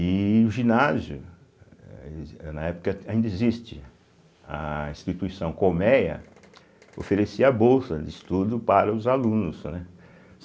E o ginásio, eh ele exis na época ainda existe, a instituição Colmeia oferecia bolsa de estudo para os alunos, né.